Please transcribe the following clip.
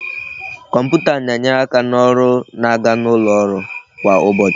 Kọmputa na-enyere aka na ọrụ na-aga n'ụlọ ọrụ kwa ụbọchị